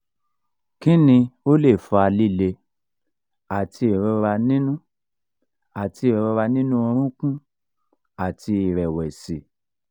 kini o le fa lile ati irora ninu ati irora ninu orunkun àti ìrẹ̀wẹ̀sì?